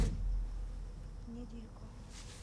недилько